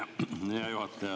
Hea juhataja!